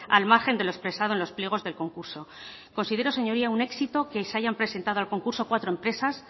al margen de lo expresado en los pliegos del concurso considero señoría un éxito que se hayan presentado al concurso cuatro empresas